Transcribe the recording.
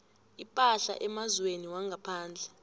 ipahla emazweni wangaphandle